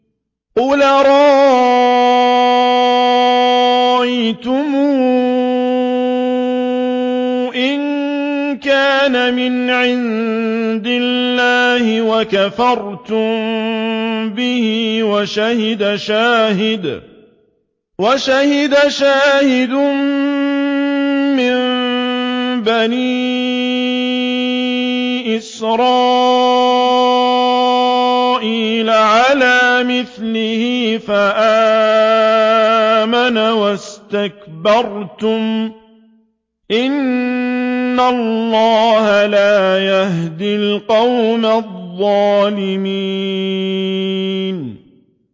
قُلْ أَرَأَيْتُمْ إِن كَانَ مِنْ عِندِ اللَّهِ وَكَفَرْتُم بِهِ وَشَهِدَ شَاهِدٌ مِّن بَنِي إِسْرَائِيلَ عَلَىٰ مِثْلِهِ فَآمَنَ وَاسْتَكْبَرْتُمْ ۖ إِنَّ اللَّهَ لَا يَهْدِي الْقَوْمَ الظَّالِمِينَ